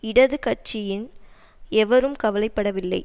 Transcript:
இடது கட்சியின் எவரும் கவலை படவில்லை